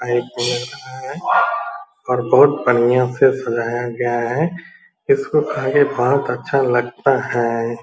है और बहुत बढ़ियाँ से सजाया गया है और इसको खा के बहुत अच्छा लगता है।